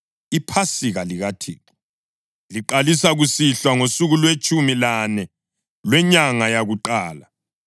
IPhasika likaThixo liqalisa kusihlwa ngosuku lwetshumi lane lwenyanga yakuqala.